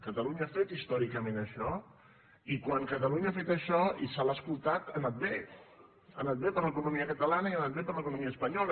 catalunya ha fet històricament això i quan catalunya ha fet això i se l’ha escoltat ha anat bé ha anat bé per a l’economia catalana i ha anat bé per a l’economia espanyola